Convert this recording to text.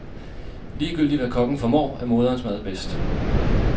Ligegyldigt hvad kokken formår, er moderens mad bedst.